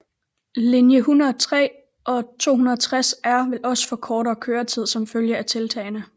Linje 103 og 260R vil også få kortere køretid som følge af tiltagene